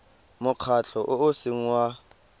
mokgatlho o o seng wa